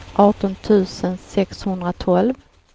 arton tusen sexhundratolv